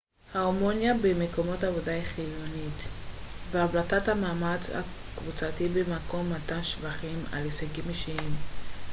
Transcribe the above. הרמוניה במקום העבודה היא חיונית והבלטת המאמץ הקבוצתי במקום מתן שבחים על הישגים אישיים